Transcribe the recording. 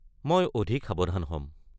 মই অধিক সাৱধান হম।